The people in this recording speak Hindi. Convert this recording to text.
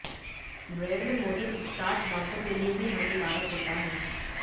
ब्रेड में मौजूद स्टार्च दाँतों के लिए भी हानिकारक होता है